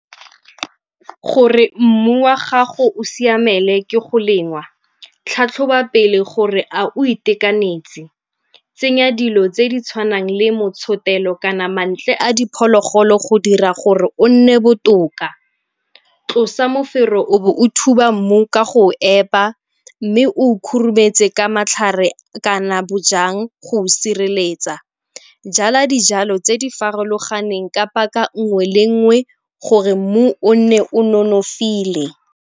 Gore mmu wa gago o siamele ke go lemngwa, tlhatlhoba pele gore a o itekanetse? Tsenya dilo tse di tshwanang le motshotelo kana mantle a diphologolo go dira gore o nne botoka. Tlosa mofero o bo o thuba mmu ka go o epa mme o khurumetswe ka matlhare kana bojang go o sireletsa. Jala dijalo tse di farologaneng ka paka nngwe le nngwe gore mmu o nne o nonofile.